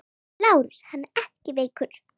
LÁRUS: Hann er ekki veikur!